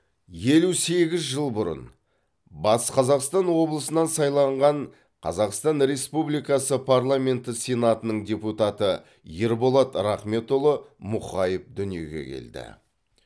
елу сегіз жыл бұрын батыс қазақстан облысынан сайланған қазақстан республикасы парламенті сенатының депутаты ерболат рахметұлы мұқаев дүниеге келді